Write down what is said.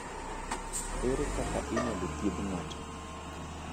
Ere kaka inyalo thiedh ng’ato?